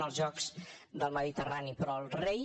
en els jocs del mediterrani però el rei